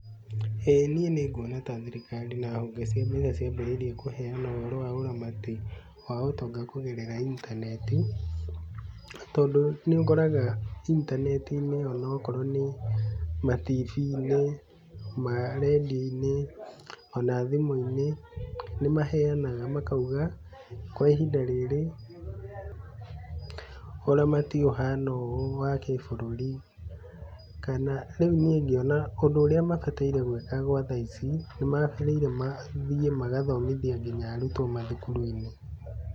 Ĩ, niĩ nguona ta thirikari na honge cia mbeca ciambĩrĩirie kũheanwo ũhoro wa ũramati wa ũtonga kũgerera intaneti, tondũ nĩ ũkoraga intaneti-inĩ o na okorwo nĩ matibii-inĩ, maredio-inĩ, o na thimũ-inĩ nĩ maheanaga makauga, kwa ihinda rĩrĩ ũramati ũhana ũũ wa kĩbũrũri. Kana, rĩu niĩ ngĩona ũndũ ũrĩa mabatairĩ gwĩka gwa tha ici nĩ maagĩrĩire mathiĩ magathomithia nginya arutwo mathukuru-inĩ.